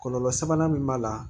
Kɔlɔlɔ sabanan min b'a la